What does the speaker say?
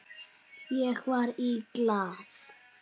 Ég var í Glað.